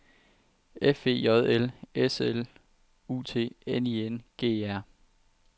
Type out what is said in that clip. F E J L S L U T N I N G E R